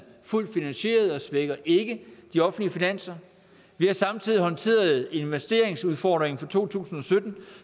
fuldt finansieret og svækker ikke de offentlige finanser vi har samtidig håndteret en investeringsudfordring for to tusind og sytten